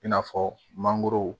I n'a fɔ mangoro